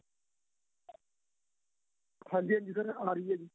ਹਾਂਜੀ ਹਾਂਜੀ sir ਆਂ ਰਹੀ ਏ